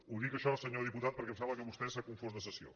ho dic això senyor diputat perquè em sembla que vostè s’ha confós de sessió